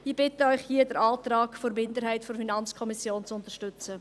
Ich bitte Sie hier, den Antrag der Minderheit der FiKo zu unterstützen.